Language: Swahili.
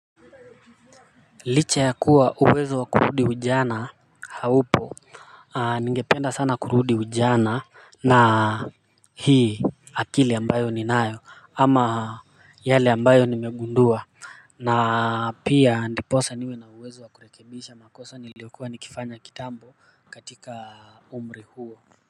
Licha ya kuwa uwezo wa kurudi kijana haupo ningependa sana kurudi ujana na hii akili ambayo ni nayo ama yale ambayo nimegundua na pia ndiposa niwe na uwezo wa kurekebisha makosa niliokuwa nikifanya kitambo katika umri huo.